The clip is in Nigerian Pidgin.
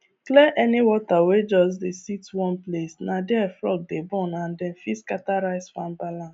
clear any water wey just dey sit one placena there frog dey born and dem fit scatter rice farm balance